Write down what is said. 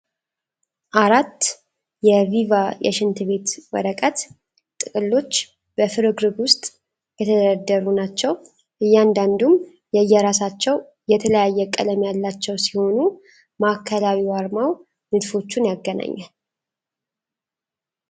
አራት የቪቫ የሽንት ቤት ወረቀት ጥቅሎች በፍርግርግ ውስጥ የተደረደሩ ናቸው። እያንዳንዱም የየራሳቸው የተለያየ ቀለም ያላቸው ሲሆኑ ማዕከላዊ አርማው ንድፎቹን ያገናኛል።